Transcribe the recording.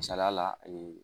Sariya la